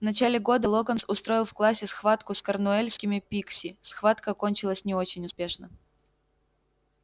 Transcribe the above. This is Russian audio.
в начале года локонс устроил в классе схватку с корнуэльскими пикси схватка кончилась не очень успешно